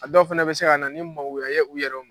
A dɔw fana bɛ se ka na ni magoya ye u yɛrɛw ma.